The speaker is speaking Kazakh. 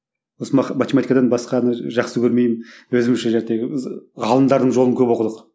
осы математика басқаны жақсы көрмеймін өзімізше ғалымдардың жолын көп оқыдық